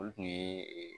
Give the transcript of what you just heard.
Olu kun ye